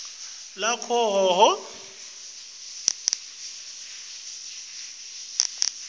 lakahhohho